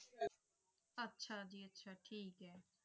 ਅੱਛਾ ਜੀ ਅੱਛਾ ਠੀਕ ਹੈ।